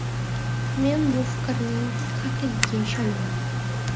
Men bu fikrning haqligiga ishonaman”.